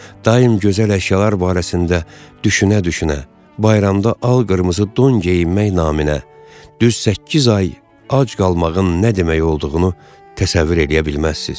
Daim gözəl əşyalar barəsində düşünə-düşünə bayramda al-qırmızı don geyinmək naminə düz səkkiz ay ac qalmağın nə demək olduğunu təsəvvür eləyə bilməzsiniz.